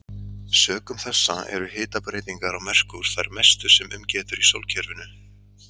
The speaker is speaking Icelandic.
Sökum þessa eru hitabreytingar á Merkúr þær mestu sem um getur í sólkerfinu.